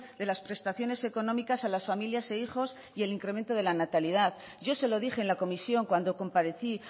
de las prestaciones económicas a las familias e hijos y el incremento de la natalidad yo se lo dije en la comisión cuando comparecí